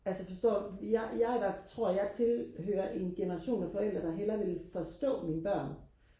altså forstår fordi jeg jeg tror jeg tilhører en generation af forældre der hellere vil forstå mine børn